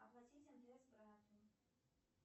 оплатить мтс брату